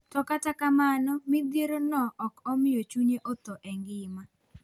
To kata kamano midhiero no okomiyo chunye othoo engima.